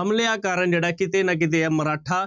ਹਮਲਿਆਂ ਕਾਰਨ ਜਿਹੜਾ ਕਿਤੇ ਨਾ ਕਿਤੇ ਇਹ ਮਰਾਠਾ